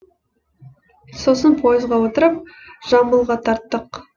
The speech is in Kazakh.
сосын поезға отырып жамбылға тарттық